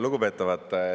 Lugupeetavad!